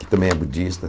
que também é budista.